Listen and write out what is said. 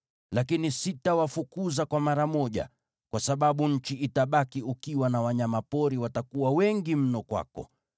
Lakini sitawafukuza kwa mara moja, kwa sababu nchi itabaki ukiwa na wanyama pori watakuwa wengi mno kwako.